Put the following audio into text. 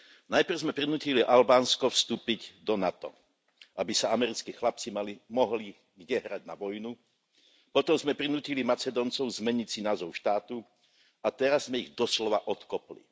Najprv sme prinútili Albánsko vstúpiť do NATO, aby sa americkí chlapci mohli kde hrať na vojnu, potom sme prinútili Macedóncov zmeniť si názov štátu a teraz sme ich doslova odkopli.